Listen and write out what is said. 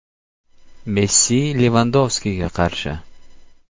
Messi Levandovskiga qarshi.